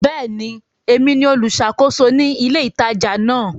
Bẹ́ẹ̀ni, èmi ni olùṣàkóso ní ilé ìtajà náà.